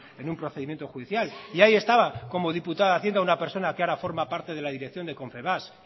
en un procedimiento judicial y ahí estaba como diputada de hacienda una persona que ahora forma parte de la dirección de confebask